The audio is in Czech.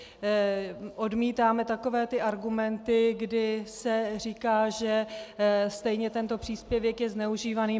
Odmítáme takové ty argumenty, kdy se říká, že stejně tento příspěvek je zneužívaný.